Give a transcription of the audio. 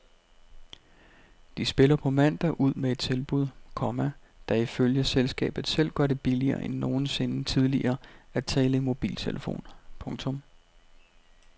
De spiller på mandag ud med et tilbud, komma der ifølge selskabet selv gør det billigere end nogensinde tidligere at tale i mobiltelefon. punktum